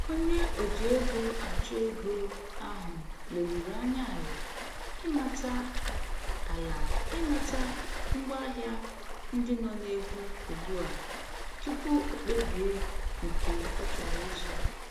Onye o ji ego achụ ego ahụ leruru anya ala ịmata ala ịmata ngwa ahịa ndị nọ egwu ugbu a tupu o kpebie nke ọ chọrọ ịzụ